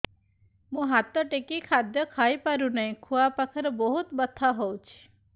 ମୁ ହାତ ଟେକି ଖାଦ୍ୟ ଖାଇପାରୁନାହିଁ ଖୁଆ ପାଖରେ ବହୁତ ବଥା ହଉଚି